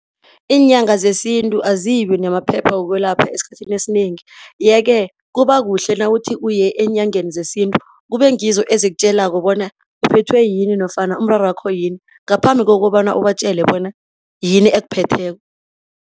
Iinyanga zesintu azibi namaphepha wokwelapha esikhathini esinengi yeke kuba kuhle nawuthi uye eenyangeni zesintu, kube ngizo ezikutjelako bona uphethwe yini nofana umrarwakho yini ngaphambi kokobana ubatjele bona yini ekuphetheko.